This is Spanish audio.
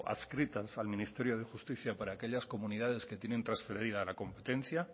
adscritas al ministerio de justicia para que aquellas comunidades que tienen trasferida la competencia